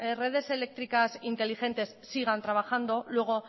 redes eléctricas inteligentes sigan trabajando luego